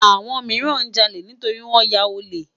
Awòn mirán jàlé nitóri wòn yá òlè